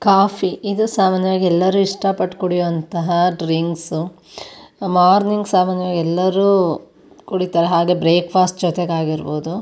Coffee ಇದು ಸಾಮಾನ್ಯವಾಗಿ ಎಲ್ಲರು ಇಷ್ಟಪಟ್ಟು ಕುಡಿಯುವಂತಹ ಡ್ರಿಂಕ್ಸ್ ಮಾರ್ನಿಂಗ್ ಸಾಮಾನ್ಯವಾಗಿ ಎಲ್ಲರು ಕುಡಿತರೆ ಹಾಗೆ ಬ್ರೇಕ್ ಫಾಸ್ಟ್ ಜೊತೆಗಾಗಿರಬಹುದು.